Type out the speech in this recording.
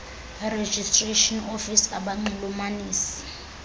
registration office abanxulumanisi